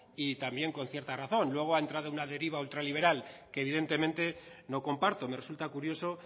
y también con cierta razón luego ha entrado en una deriva ultraliberal que evidentemente no comparto me resulta curioso